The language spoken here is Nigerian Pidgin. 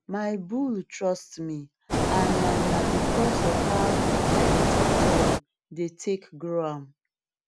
my bull trust me and na na because of how i dey talk to am dey take grow am